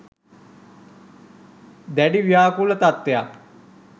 දැඩි ව්‍යාකූල තත්ත්වයක්